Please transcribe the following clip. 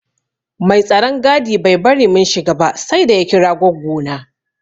Mai tsaron gadi bai bari mun shiga ba saida ya kira goggo na.